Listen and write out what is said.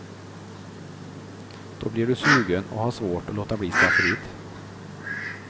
Då blir du sugen och har svårt att låta bli skafferiet.